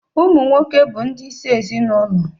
Ụmụ nwoke bu ndi isi ezinụlọ